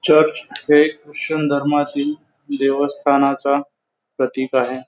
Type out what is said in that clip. Church हे Christian धर्मातिल देवस्थानाचा प्रतीक आहे.